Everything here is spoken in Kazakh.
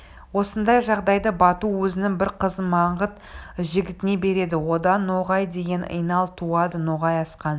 осындай жағдайда бату өзінің бір қызын маңғыт жігітіне береді одан ноғай деген инал туады ноғай асқан